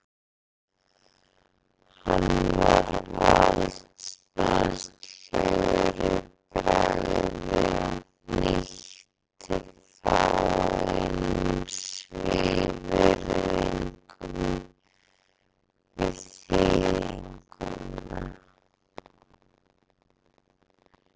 Hann var valdsmannslegur í bragði og hnýtti fáeinum svívirðingum við þýðinguna.